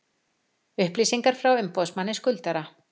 Upplýsingar frá umboðsmanni skuldara